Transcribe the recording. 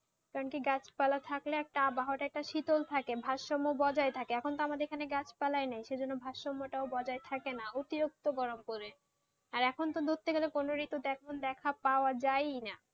কারণকি গাছপালা থাকলে একটা আবহাওয়া টা একটু শীতল থাকে, ভারসাম্য বজায় থাকেএখন তো আমাদের এখানে গাছপালায় নাইএজন্য ভারসাম্য বজায় থাকে না অতিরিক্ত গরম পড়ে, আর এখন তো ধরতে গেলে কোন ঋতুতে এখন পাওয়া যায়ই না,